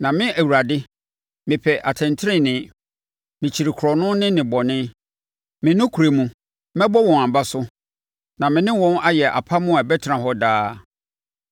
“Na me Awurade, mepɛ atɛntenenee. Mekyiri korɔno ne nnebɔne. Me nokorɛ mu, mɛbɔ wɔn aba so na me ne wɔn ayɛ apam a ɛbɛtena hɔ daa.